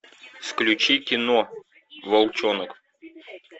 включи кино волчонок